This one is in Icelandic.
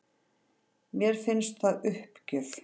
Mér finnst það uppgjöf